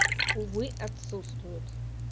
увы отсутствуют